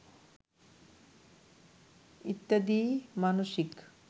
ইত্যাদি মানসিক